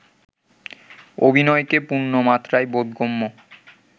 অভিনয়কে পূর্ণমাত্রায় বোধগম্য